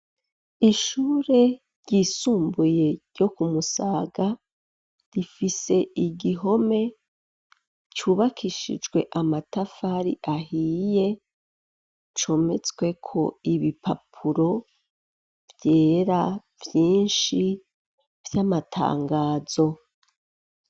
Ishure ryisumbuye, ryo ku Musaga, rifise igihome cubakishijwe amatafari ahiye, cometsweko ibipapuro vyera, vyinshi, vy'amatangazo.